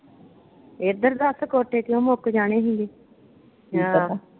ਇੱਧਰ ਦੱਸ ਕੋਟੇ ਕਿਉਂ ਮੁੱਕ ਜਾਣਾ ਹੀ?